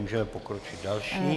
Můžeme pokročit další.